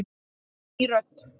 Ný rödd